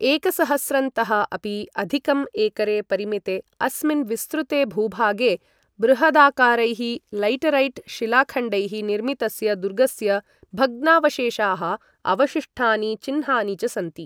एकसहस्रंतः अपि अधिकं एकरे परिमिते अस्मिन् विस्तृते भूभागे, बृहदाकारैः लैटरैट् शिलाखण्डैः निर्मितस्य दुर्गस्य भग्नावशेषाः, अवशिष्टानि चिह्नानि च सन्ति।